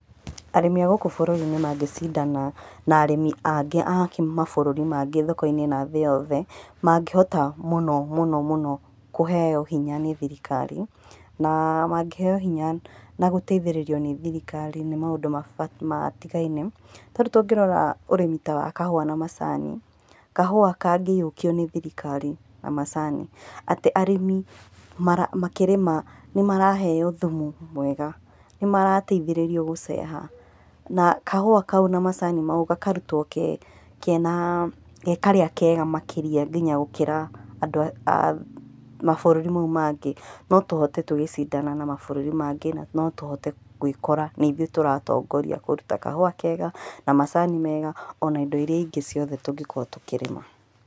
Arĩmi a gũkũ bũrũri-inĩ mangĩcindana na arĩmi angĩ a mabũrũri mangĩ thoko-inĩ na thĩ yothe, mangĩhota mũno mũno mũno kũheo hinya nĩ thirikari, na mangĩheo hinya na gũtaithĩrĩrio nĩ thirikari nĩ maũndũ matigaine. Tarĩu tũngĩrora ũrĩmi wa kahũa na macani, kahũa kangĩiyũkio nĩ thirikari na macani, atĩ arĩmi makĩrĩma nĩmaraheo thumu mwega, nĩmarataithĩrĩrio gũceha, na kahũa kau na macani mau, gakarutwo ge karĩa kega makĩria nginya gũkĩra andũ a mabũrũri mau mangĩ, notũhote tũgĩcindana na mabũrũri mangĩ na notũhote gwĩkora nĩithuĩ tũratongoria kũruta kahũa kega, na macani mega, ona indo iria ingĩ ciothe tũngĩkorwo tũkĩrĩma.